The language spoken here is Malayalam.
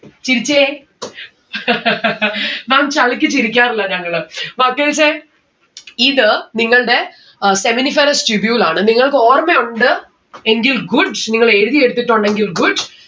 ചിരിച്ചേ ma'am ചളിക്ക് ചിരിക്കാറില്ല ഞങ്ങള്. മാറ്റിവെച്ച ഇത് നിങ്ങൾടെ ഏർ seminiferous tubule ആണ്. നിങ്ങൾക്ക് ഓർമയുണ്ട് എങ്കിൽ good നിങ്ങൾ എഴുതിയെടുത്തിട്ടുണ്ടെങ്കിൽ good